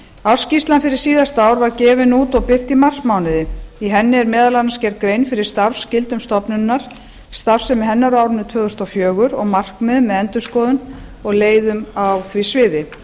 ársskýrslan fyrir síðasta ár var gefin út og birt í marsmánuði í henni er meðal annars gerð grein fyrir starfsskyldum stofnunarinnar starfsemi hennar á árinu tvö þúsund og fjögur og markmiðum með endurskoðun og leiðum á því sviði